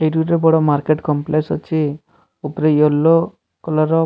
ଏଇଠି ଗୋଟେ ବଡ ମାର୍କେଟ କମ୍ପ୍ଲେସ ଅଛି ଉପରେ ୟଲୋ କଲରର --